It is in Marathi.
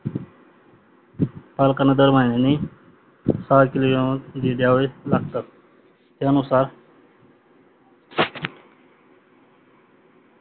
अरेकॉलीयोन झिजवेस लागतात त्या नुसार